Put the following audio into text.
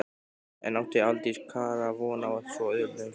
En átti Aldís Kara von á svo auðveldum sigri?